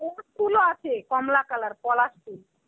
ফুলও আছে কমলা color পলাশ ফুল.